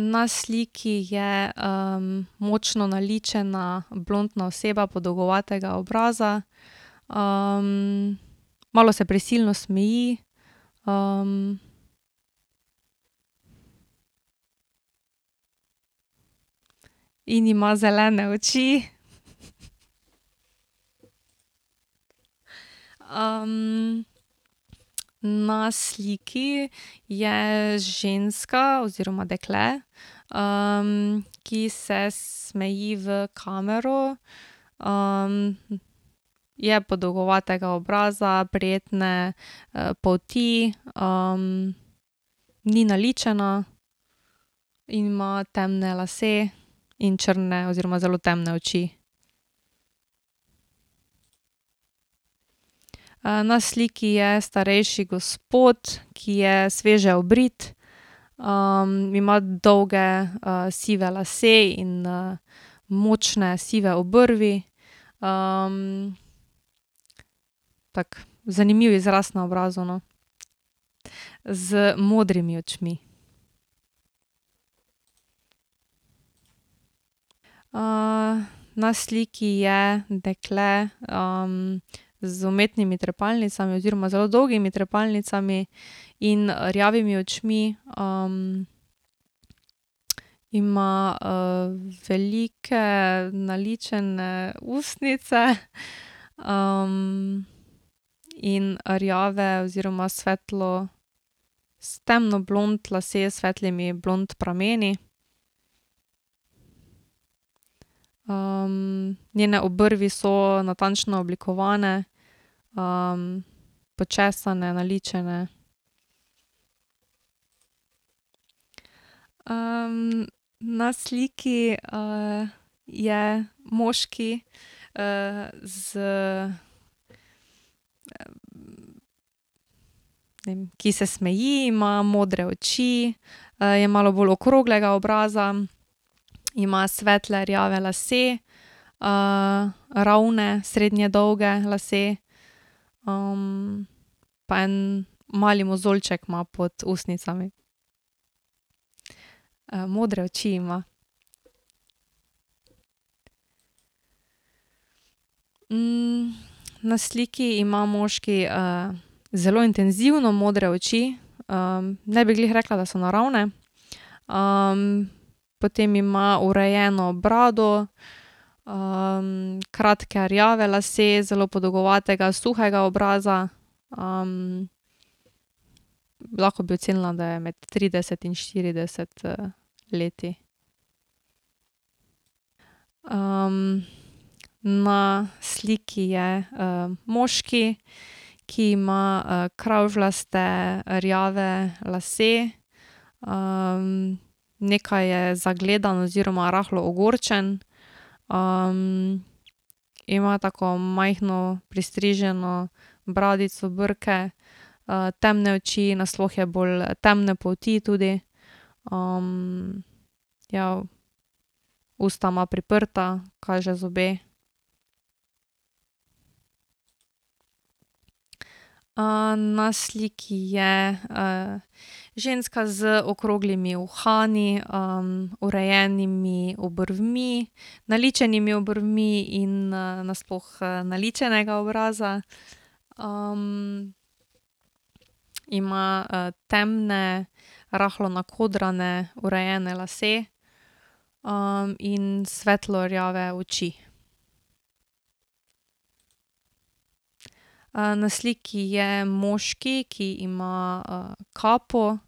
na sliki je, močno naličena, blontna oseba, podolgovatega obraza. malo se prisilno smeji, In ima zelene oči. na sliki je ženska oziroma dekle, ki se smeji v kamero. je podolgovatega obraza, prijetne, polti, ni naličena in ima temne lase in črne oziroma zelo temne oči. na sliki je starejši gospod, ki je sveže obrit, ima dolge, sive lase in, močne sive obrvi, Tak zanimiv izraz na obrazu, no. Z modrimi očmi. na sliki je dekle, z umetnimi trepalnicami oziroma z zelo dolgimi trepalnicami in rjavimi očmi, ima, velike, naličene ustnice, in rjave oziroma svetlo, temno blond lase, s svetlimi blond prameni. njene obrvi so natančno oblikovane, počesane, naličene. na sliki, je moški, z, ki se smeji, ima modre oči, je malo bolj okroglega obraza, ima svetle rjave lase, ravne, srednje dolge lase. pa en mali mozoljček ima pod ustnicami. modre oči ima. na sliki ima moški, zelo intenzivno modre oči. ne bi glih rekla, da so naravne. potem ima urejeno brado, kratke rjave lase, zelo podolgovatega suhega obraza. lahko bi ocenila, da je med trideset in štirideset leti. na sliki je, moški, ki ima kravžljaste, rjave lase, nekaj je zagledan oziroma rahlo ogorčen. ima tako majhno pristriženo bradico, brke, temne oči, nasploh je bolj temne polti tudi, ja, usta ima priprta, kaže zobe. na sliki je, ženska z okroglimi uhani, urejenimi obrvmi, naličenimi obrvmi in, nasploh, naličenega obraza, Ima, temne, rahlo nakodrane, urejene lase, in svetlo rjave oči. na sliki je moški, ki ima, kapo,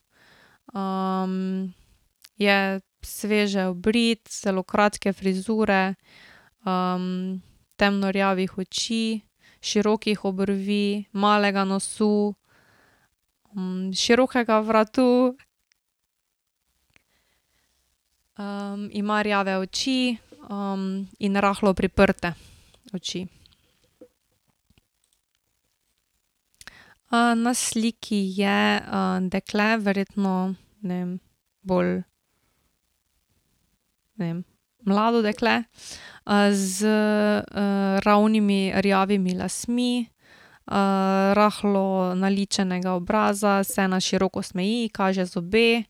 je sveže obrit, zelo kratke frizure, temno rjavih oči, širokih obrvi, malega nosu, širokega vratu. ima rjave oči, in rahlo priprte oči. na sliki je, dekle, verjetno, ne vem, bolj, ne vem, mlado dekle, z, ravnimi, rjavimi lasmi, rahlo naličenega obraza, se na široko smeji, kaže zobe,